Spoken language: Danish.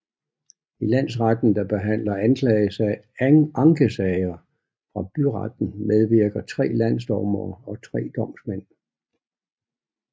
I landsretten der behandler ankesager fra byretten medvirker tre landsdommere og tre domsmænd